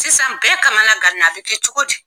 Sisan bɛɛ kama gan na a bɛ kɛ cogo di.